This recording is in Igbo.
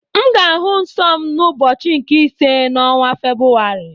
Aga m ahụ nsọ m n'ụbọchị nke ise ọnwa Febrụwarị.